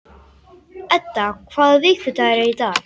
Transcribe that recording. Edda, hvaða vikudagur er í dag?